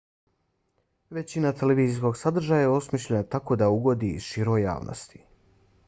većina televizijskog sadržaja je osmišljena tako da ugodi široj javnosti